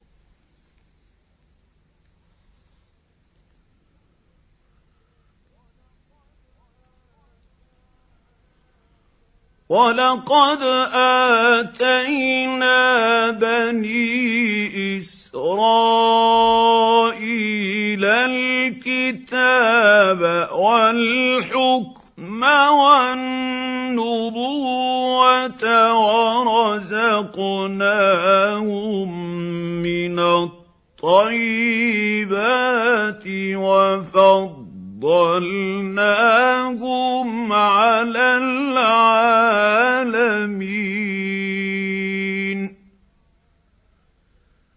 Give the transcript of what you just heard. وَلَقَدْ آتَيْنَا بَنِي إِسْرَائِيلَ الْكِتَابَ وَالْحُكْمَ وَالنُّبُوَّةَ وَرَزَقْنَاهُم مِّنَ الطَّيِّبَاتِ وَفَضَّلْنَاهُمْ عَلَى الْعَالَمِينَ